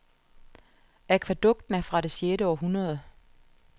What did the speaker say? Akvædukten er fra det et sjette århundrede.